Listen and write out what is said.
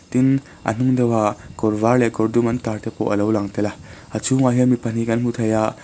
tin a hnung deuh ah kawr var leh kawr dum an tar te pawh a lo lang tel a a chhungah hian mi pahnih kan hmu thei a--